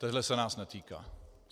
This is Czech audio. Tohle se nás netýká.